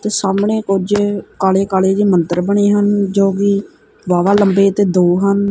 ਤੇ ਸਾਹਮਣੇ ਕੁਝ ਕਾਲੇ ਕਾਲੇ ਜਿਹੇ ਮੰਦਰ ਬਣੇ ਹਨ ਜੋਕਿ ਜ਼ਾਦਾ ਲੰਬੇ ਤੇ ਦੋ ਹਨ।